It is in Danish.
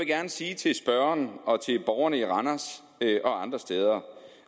gerne sige til spørgeren og til borgerne i randers og andre steder